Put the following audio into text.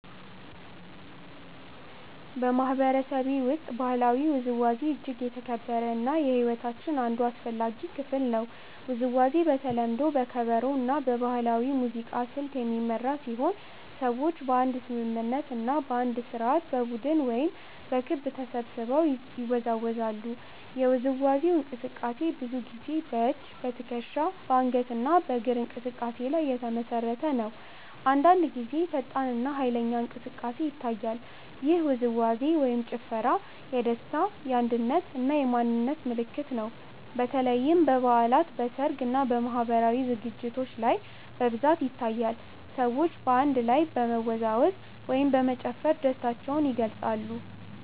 በማህበረሰቤ ውስጥ ባህላዊ ውዝዋዜ እጅግ የተከበረ እና የሕይወታችን አንድ አስፈላጊ ክፍል ነው። ውዝዋዜው በተለምዶ በከበሮ እና በባህላዊ ሙዚቃ ስልት የሚመራ ሲሆን ሰዎች በአንድ ስምምነት እና በአንድ ስርዓት በቡድን ወይም በክብ ተሰብስበው ይወዛወዛሉ። የውዝዋዜው እንቅስቃሴ ብዙ ጊዜ በእጅ፣ በትከሻ፣ በአንገት እና በእግር እንቅስቃሴ ላይ የተመሰረተ ነው። አንዳንድ ጊዜ ፈጣን እና ኃይለኛ እንቅስቃሴ ይታያል። ይህ ውዝዋዜ/ ጭፈራ የደስታ፣ የአንድነት እና የማንነት ምልክት ነው። በተለይም በበዓላት፣ በሰርግ እና በማህበራዊ ዝግጅቶች ላይ በብዛት ይታያል። ሰዎች በአንድ ላይ በመወዛወዝ ወይም በመጨፈር ደስታቸውን ይገልጻሉ።